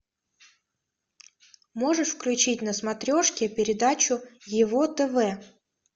можешь включить на смотрешке передачу его тв